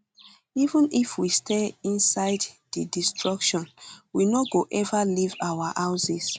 even if we stay inside di destruction we no go ever leave our houses